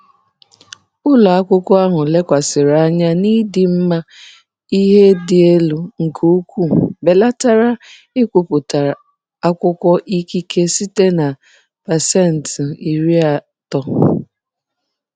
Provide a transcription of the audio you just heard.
Ụlọ ọrụ ahụ lekwasịrị anya n'ịdị mma ihe dị elu nke ukwuu belatara nkwupụta akwụkwọ ikike site na 30%.